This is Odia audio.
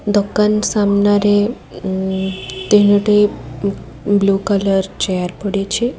ଦୋକାନ ସାମ୍ନାରେ ଉ ତିନୋଟି ଉମ୍ ବ୍ଲୁ କଲର୍ ଚେୟାର ପଡ଼ିଛି।